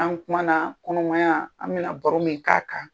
An kuma na kɔnɔmaya an bɛ na baro min k'a kan.